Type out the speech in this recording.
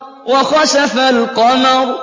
وَخَسَفَ الْقَمَرُ